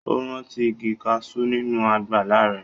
Ó rántí igi kaṣú nínú àgbàlá rẹ̀.